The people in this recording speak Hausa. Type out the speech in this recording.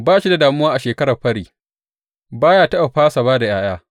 Ba shi da damuwa a shekarar fări ba ya taɓa fasa ba da ’ya’ya.